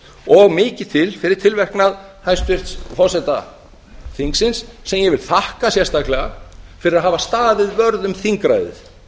og mikið til fyrir tilverknað hæstvirts forseta þingsins sem ég vil þakka sérstaklega fyrir að hafa staðið vörð um þingræðið